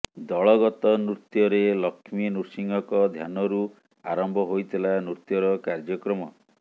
ଦଳଗତ ନୃତ୍ୟରେ ଲକ୍ଷ୍ମୀ ନୃସିଂହଙ୍କ ଧ୍ୟାନରୁ ଆରମ୍ଭ ହୋଇଥିଲା ନୃତ୍ୟର କାର୍ଯ୍ୟକ୍ରମ